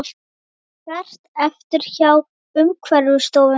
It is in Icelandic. Hert eftirlit hjá Umhverfisstofnun